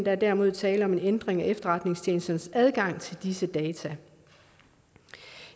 er derimod tale om en ændring af efterretningstjenesternes adgang til disse data